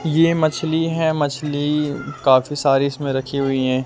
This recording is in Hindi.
ये मछली है मछली काफी सारी इसमें रखी हुई हैं।